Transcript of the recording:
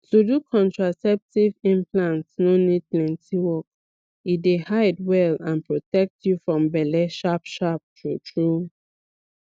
to do contraceptive implant no need plenty work e dey hide well and protect you from belle sharpsharp truetrue